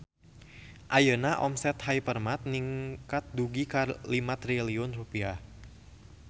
Ayeuna omset Hypermart ningkat dugi ka 5 triliun rupiah